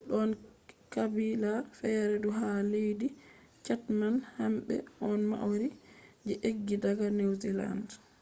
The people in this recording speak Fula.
don qabila fere fu ha leddi chatham hambe on maori je eggi daga new zealand